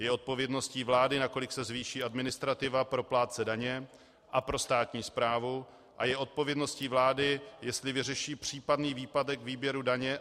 Je odpovědností vlády, nakolik se zvýší administrativa pro plátce daně a pro státní správu, a je odpovědností vlády, jestli vyřeší případný výpadek výběru daně.